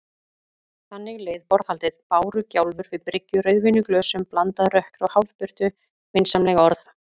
Þannig leið borðhaldið: bárugjálfur við bryggju, rauðvín í glösum, blandað rökkri og hálfbirtu, vinsamleg orð.